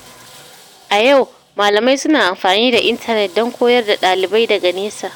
A yau, malamai suna amfani da intanet don koyar da ɗalibai daga nesa.